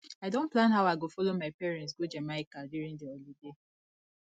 i don plan how i go follow my parents go jamaica during the holiday